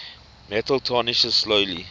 metal tarnishes slowly